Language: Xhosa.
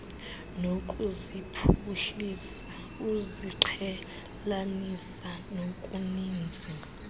nokuziphuhlisa uziqhelanisa nokuninzi